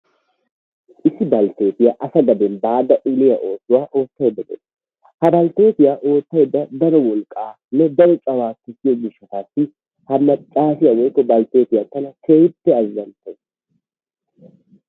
Issi balttetiya asa gaden baada uniyaa oosuwa oottaydda dawus. ha balttetiya oottaydda daro wolqqanne daro cawaa gussiyo gishshatassi ha maccassiya woykko balttetiya tana keehippe azzanttawus.